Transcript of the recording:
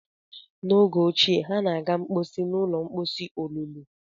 N'oge ochie, ha na-aga mposi n ụlọ mposi olulu